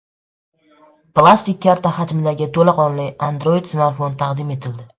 Plastik karta hajmidagi to‘laqonli Android smartfon taqdim etildi.